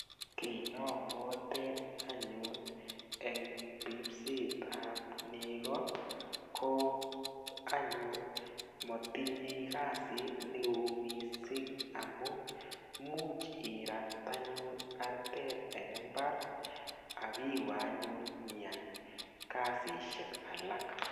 Kiy nobwoten anyun eng ripset ap nego ko anyun matinyei kasit neo mising amu much irat anyun artet eng imbar akiwe anyun nyiyai kasishek alak.